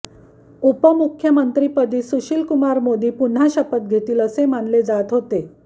उपमुख्यमंत्रीपदी सुशील कुमार मोदी पुन्हा शपथ घेतील असे मानले जात होते